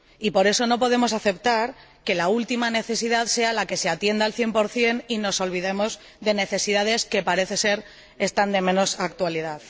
Y por eso, no podemos aceptar que la última necesidad sea la que se atienda al 100 y nos olvidemos de necesidades que, al parecer, son de menor actualidad.